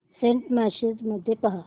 Saint messages मध्ये पहा